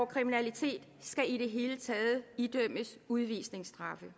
kriminalitet skal i det hele taget idømmes udvisningsstraf